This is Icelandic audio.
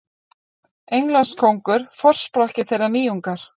Englandskóngur forsprakki þeirrar nýjungar.